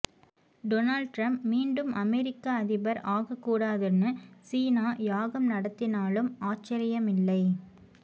Donald Trump மீண்டும் அமெரிக்க அதிபர் ஆகாக்கூடாதுன்னு சீனா யாகம் நடத்தினாலும் ஆச்சரியமில்லை